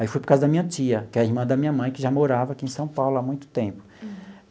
Aí fui para a casa da minha tia, que é a irmã da minha mãe, que já morava aqui em São Paulo há muito tempo. Uhum.